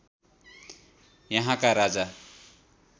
यहाँका राजा